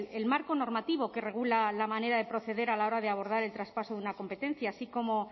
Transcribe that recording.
el marco normativo que regula la manera de proceder a la hora de abordar el traspaso de una competencia así como